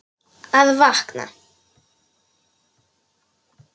Að vakna.